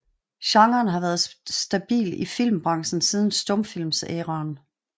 Genren har været stabil i filmbrancen siden stumfilmsæreaen